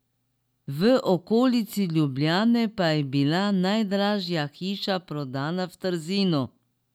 V okolici Ljubljane pa je bila najdražja hiša prodana v Trzinu.